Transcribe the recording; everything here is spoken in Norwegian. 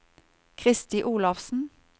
Kristi Olafsen